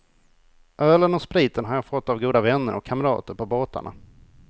Ölen och spriten har jag fått av goda vänner och kamrater på båtarna.